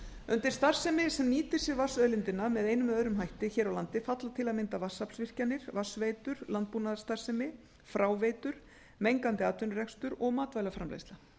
undir starfsemi sem nýtir vatnsauðlindina með einum eða öðrum hætti hér á landi falla til að mynda vatnsaflsvirkjanir vatnsveitur landbúnaðarstarfsemi fráveitur mengandi atvinnurekstur og matvælaframleiðsla